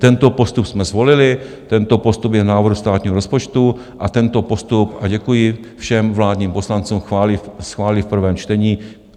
Tento postup jsme zvolili, tento postup je v návrhu státního rozpočtu a tento postup - a děkuji všem vládním poslancům - schválí v prvém čtení.